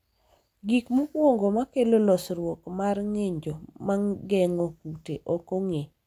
gik mokwongo makelo losruok mar ng'injo mageng'o kute ok ong'e